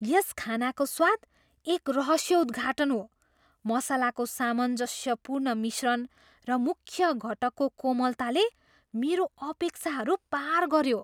यस खानाको स्वाद एक रहस्योद्घाटन हो, मसलाको सामञ्जस्यपूर्ण मिश्रण र मुख्य घटकको कोमलताले मेरो अपेक्षाहरू पार गऱ्यो।